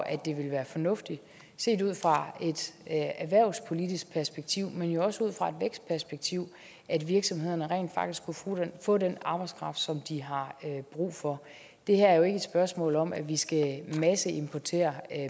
at det ville være fornuftigt set ud fra et erhvervspolitisk perspektiv men jo også ud fra et vækstperspektiv at virksomhederne rent faktisk kunne få den arbejdskraft som de har brug for det her er jo ikke et spørgsmål om at vi skal masseimportere